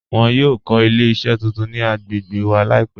Wọn yọ kọ ilẹ̀-iṣẹ tuntun ni agbègbè wa laipẹ̀